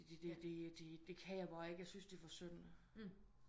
Det det det kan jeg bare ikke jeg syntes det er for synd